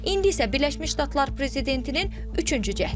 İndi isə Birləşmiş Ştatlar prezidentinin üçüncü cəhdidir.